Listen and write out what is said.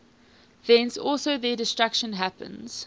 thence also their destruction happens